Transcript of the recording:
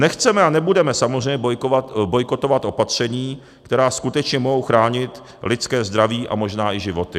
Nechceme a nebude samozřejmě bojkotovat opatření, která skutečně mohou chránit lidské zdraví a možná i životy.